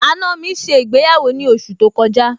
àna mi ṣe ìgbéyàwó ní oṣù tó kọjá